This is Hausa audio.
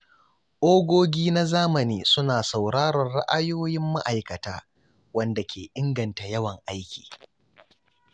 Ogogi na zamani suna sauraron ra’ayoyin ma’aikata, wanda ke inganta yawan aiki.